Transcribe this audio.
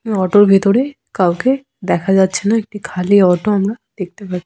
Auto -এর ভিতরে কাউকে দেখা যাচ্ছে না একটি খালি অটো আমরা দেখতে পাই ।